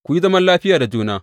Ku yi zaman lafiya da juna.